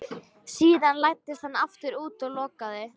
Síðan læddist hann aftur út og lokaði.